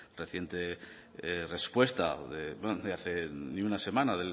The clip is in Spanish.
reciente respuesta de hace ni una semana